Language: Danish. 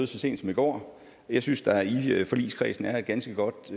så sent som i går jeg synes der i forligskredsen er et ganske godt